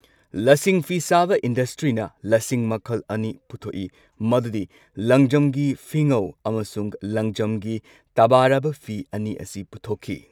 ꯂꯁꯤꯡ ꯐꯤ ꯁꯥꯕ ꯏꯟꯗꯁꯇ꯭ꯔꯤꯅ ꯂꯁꯤꯡ ꯃꯈꯜ ꯑꯅꯤ ꯄꯨꯊꯣꯛꯏ꯫ ꯃꯗꯨꯗꯤ ꯂꯪꯖꯝꯒꯤ ꯐꯤꯉꯧ ꯑꯃꯁꯨꯡ ꯂꯪꯖꯝꯒꯤ ꯇꯕꯥꯔꯕ ꯐꯤ ꯑꯅꯤ ꯑꯁꯤ ꯄꯨꯊꯣꯛꯈꯤ꯫